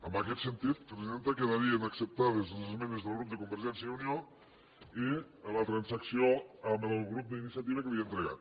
en aquest sentit presidenta quedarien acceptades les esmenes del grup de convergència i unió i la transacció amb el grup d’iniciativa que li he entregat